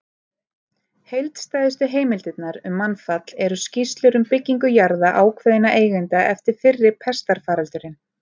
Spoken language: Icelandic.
Heildstæðustu heimildirnar um mannfall eru skýrslur um byggingu jarða ákveðinna eigenda eftir fyrri pestarfaraldurinn.